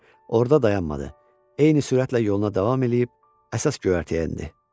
Orada dayanmadı, eyni sürətlə yoluna davam eləyib əsas göyərtəyə endi.